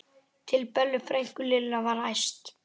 til Bellu frænku, Lilla var æst.